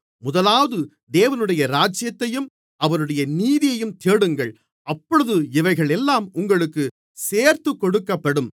முதலாவது தேவனுடைய ராஜ்யத்தையும் அவருடைய நீதியையும் தேடுங்கள் அப்பொழுது இவைகளெல்லாம் உங்களுக்கு சேர்த்துக்கொடுக்கப்படும்